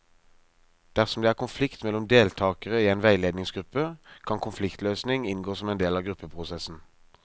Dersom det er konflikt mellom deltakere i en veiledningsgruppe, kan konfliktløsning inngå som en del av gruppeprosessen.